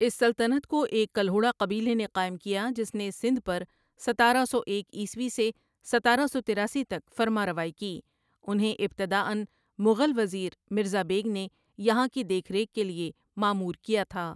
اس سلطنت کو ایک کلہوڑا قبیلے نے قائم کیا جس نے سندھ پر ستارہ سو ایک عیسوی سے ستارہ سو تراسی تک فرمانروائی کی انہیں ابتداًا مغل وزیر مرزا بیگ نے یہاں کی دیکھ ریکھ کے لیے مامور کیا تھا ۔